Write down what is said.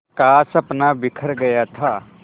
का सपना बिखर गया था